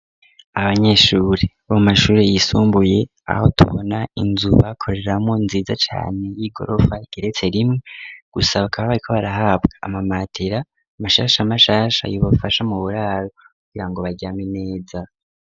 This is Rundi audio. Abanyeshuri bo mashuri yisumbuye aho tubona inzu bakoreramo nziza cane y'igorofa igeretse rimwe gusa ba kaba bari ko barahabwa amamatera amashasha amashasha yubafasha mu buraro kugira ngo baryame neza.